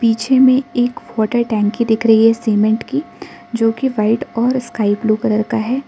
पीछे में एक वाटर टंकी दिख रही है सीमेंट की जो कि व्हाइट और स्काई ब्लू कलर का है।